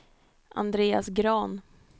Andreas Grahn